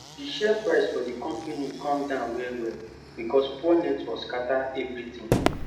d share price for d compani cum down well well becos poor network scatter everi tin